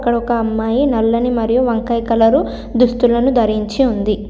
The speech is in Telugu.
ఇక్కడ ఒక అమ్మాయి నల్లని మరియు వంకాయ కలరు దుస్తులను ధరించి ఉంది.